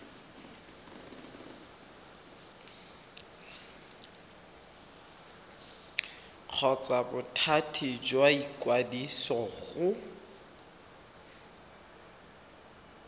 kgotsa bothati jwa ikwadiso go